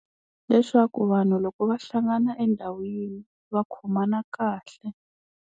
Leswaku vanhu loko va hlangana endhawu yin'we va khomana kahle.